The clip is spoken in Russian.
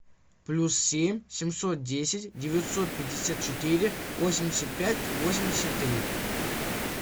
плюс семь семьсот десять девятьсот пятьдесят четыре восемьдесят пять восемьдесят три